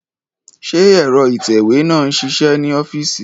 Ṣé ẹ̀rọ ìtẹ̀wé náà ń ṣiṣẹ́ ní ọ́fíìsì